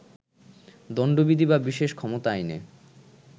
দণ্ডবিধি বা বিশেষ ক্ষমতা আইনে